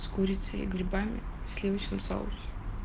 с курицей и грибами в сливочном соусе